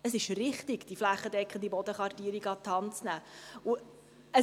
Es ist richtig, die flächendeckende Bodenkartierung an die Hand zu nehmen.